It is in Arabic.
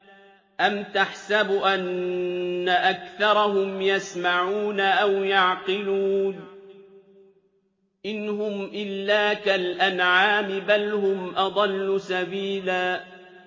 أَمْ تَحْسَبُ أَنَّ أَكْثَرَهُمْ يَسْمَعُونَ أَوْ يَعْقِلُونَ ۚ إِنْ هُمْ إِلَّا كَالْأَنْعَامِ ۖ بَلْ هُمْ أَضَلُّ سَبِيلًا